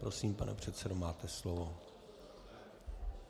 Prosím, pane předsedo, máte slovo.